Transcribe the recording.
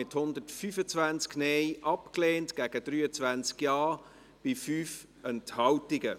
Sie haben den Rückweisungsantrag abgelehnt, mit 125 Nein- gegen 23 Ja-Stimmen bei 5 Enthaltungen.